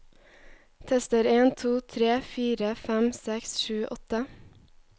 Tester en to tre fire fem seks sju åtte